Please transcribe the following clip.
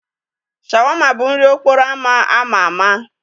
Shawarma bụ nri okporo ámá ama ama.